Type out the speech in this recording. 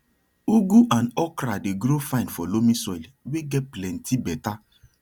ugu and okra dey grow fine for loamy soil wey get plenty better